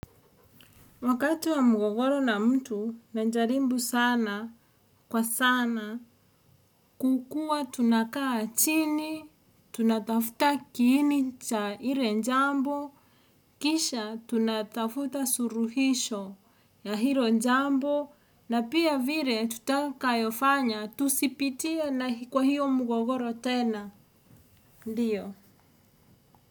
Wakati wa mgogoro na mtu na najaribu sana kwa sana kukuwa tunakaa chini, tunatafuta kiini cha ile jambo, kisha tunatafuta suluhisho ya hilo jambo na pia vile tutakayofanya tusipitie na kwa hiyo mgogoro tena, ndiyo.